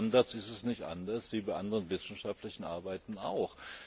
Aber bei Standards ist es nicht anders als bei anderen wissenschaftlichen Arbeiten